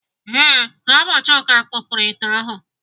Ee, ọ bụ Chuka kupuru ite ahụ.